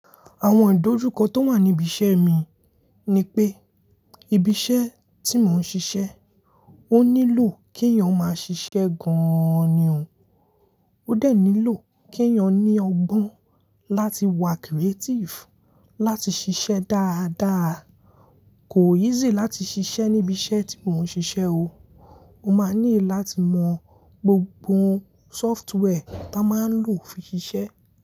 Àwọn ìdojúkọ tó wà ní ibi iṣẹ́ mi ni pé, ibi iṣẹ́ tí mò ń ṣiṣẹ́, ó nílò kí èèyàn máa ṣiṣẹ́ gan an ni o, ó de nílò kí èèyàn ní ọgbọ́n láti wà creative, láti ṣiṣẹ́ dáadáa. Kò easy láti ṣiṣẹ́ ní ibi iṣẹ́ tí mò ń ṣiṣẹ́ o, o máa ní láti mọ gbogbo software tá máa ń lò fi ṣiṣẹ́